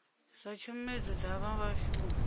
zwa tshomedzo dza zwa vhashumi